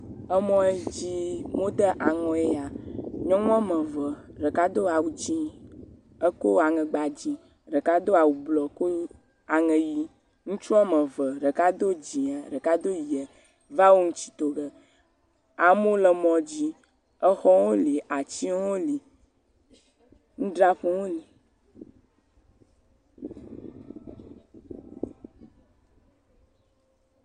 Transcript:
Emɔ yi dzi wome de aŋɔe nye ya. Nyɔnu wɔme eve. ɖeka do awu dzi. Eko aŋegba dzi. Ɖeka do awu blɔ ko aŋe ʋi. Ŋutsu wɔme eve, ɖeka do dzia, ɖeka do ʋi va wo ŋutsi to ge. Amewo le mɔ dzi. Exɔwo li, atsiwo li. Nudzraƒewo hã li.